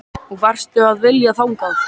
Og hvað varstu að vilja þangað?